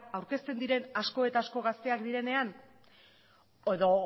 aurkezten diren asko eta asko gazteak direnean edo